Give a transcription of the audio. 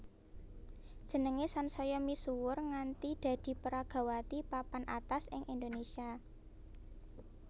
Jenengé sansaya misuwur nganti dadi peragawati papan atas ing Indonésia